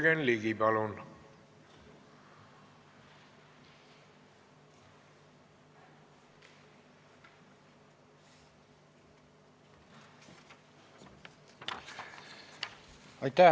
Jürgen Ligi, palun!